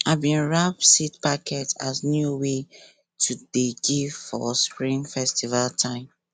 i bin wrap seed packet as new way to dey give for spring festival time